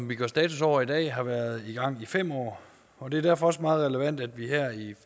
vi gør status over i dag har været i gang i fem år og det er derfor også meget relevant at vi her